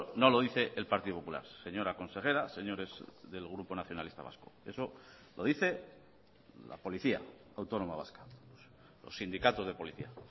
no lo dice el partido popular señora consejera señores del grupo nacionalista vasco eso lo dice la policía autónoma vasca los sindicatos de policía